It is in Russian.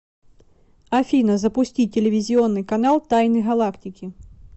афина запусти телевизионный канал тайны галактики